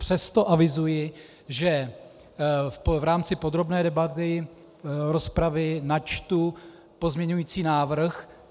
Přesto avizuji, že v rámci podrobné debaty rozpravy načtu pozměňující návrh.